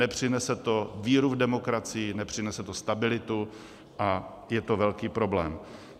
Nepřinese to víru v demokracii, nepřinese to stabilitu a je to velký problém.